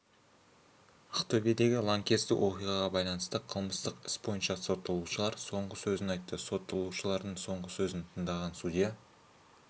ақтөбедегі лаңкестік оқиғаға байланысты қылмыстық іс бойынша сотталушылар соңғы сөзін айтты сотталушылардың соңғы сөзін тыңдаған судья